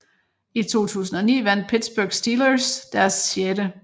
I 2009 vandt Pittsburgh Steelers deres 6